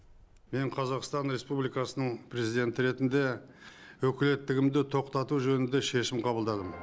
мен қазақстан республикасының президенті ретінде өкілеттігімді тоқтату туралы шешім қабылдадым